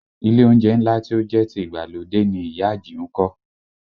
Ilé oúnjẹ ńlá tí ó jẹ́ ti ìgbàlódé ni ìyá Àjìún kọ́